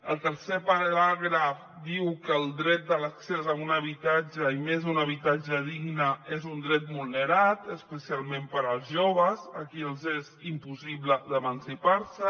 el tercer paràgraf diu que el dret de l’accés a un habitatge i més a un habitatge digne és un dret vulnerat especialment per als joves a qui els és impossible d’emancipar se